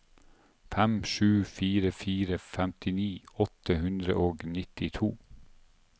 fem sju fire fire femtini åtte hundre og nittito